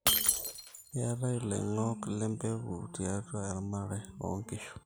keetae iloingok le mbeku tiatua eramatare oo nkishu